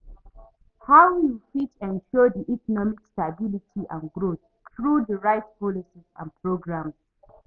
how you fit ensure di economic stability and growth through di right policies and programs?